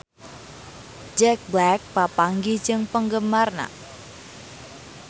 Jack Black papanggih jeung penggemarna